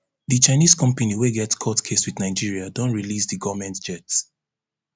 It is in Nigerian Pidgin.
di chinese company wey get court case wit nigeria don release di goment jet